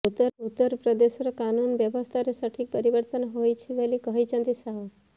ଉତ୍ତର ପ୍ରଦେଶର କାନୁନ ବ୍ୟବସ୍ଥାରେ ସଠିକ ପରିବର୍ତ୍ତନ ହୋଇଛି ବୋଲି କହିଛନ୍ତି ଶାହ